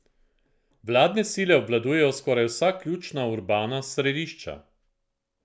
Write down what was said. Vladne sile obvladujejo skoraj vsa ključna urbana središča.